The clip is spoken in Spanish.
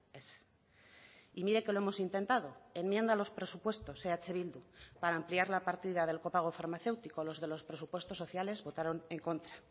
ez y mire que lo hemos intentado enmienda a los presupuestos eh bildu para ampliar la partida del copago farmacéutico los de los presupuestos sociales votaron en contra